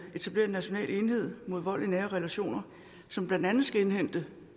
etablere en national enhed mod vold i nære relationer som blandt andet skal indhente